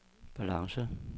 balance